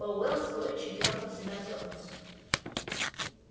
пауэлл с горечью дёрнул себя за ус